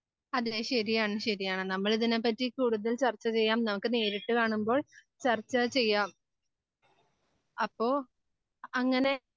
അതേ ശരിയാണ് ശരിയാണ് നമ്മളിതിനെ പറ്റി കൂടുതൽ ചർച്ച ചെയ്യാം. നമുക്ക് നേരിട്ട് കാണുമ്പോൾ ചർച്ച ചെയ്യാം. അപ്പോൾ അങ്ങനെ